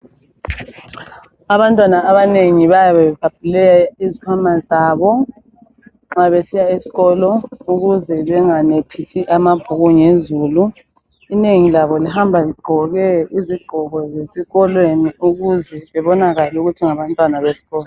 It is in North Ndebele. Abantwana abanengi bayabe bebhabhule izikhwama zabo nxa besiya esikolo ukuze benganethisi amabhuku ngezulu. Inengi labo lihamba ligqoke izigqoko zesikolweni ukuze bebonakale ukuthi ngabantwana besikolo